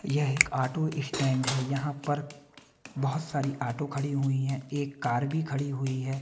यह एक auto stand है यहाँ पर बहुत सारी आटो खड़ी हुई हैं एक कार भी खड़ी हुई है।